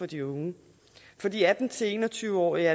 de unge for de atten til en og tyve årige